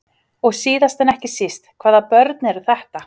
Og síðast en ekki síst, hvaða börn eru þetta?